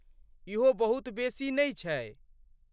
इहो बहुत बेसी नहि छै।